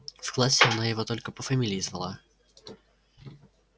в классе она его только по фамилии звала